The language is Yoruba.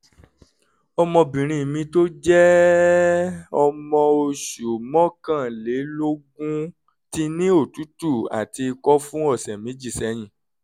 ọmọbìnrin mi tó jẹ́ ọmọ oṣù mọ́kànlélógún ti ní òtútù àti ikọ́ fún ọ̀sẹ̀ méjì sẹ́yìn